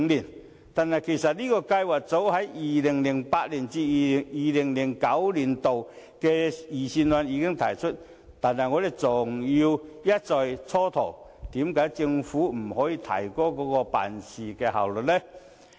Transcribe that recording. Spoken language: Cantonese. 此計劃其實早於 2008-2009 年度的財政預算案中已提出，但政府卻一再蹉跎，為何不能提高辦事效率？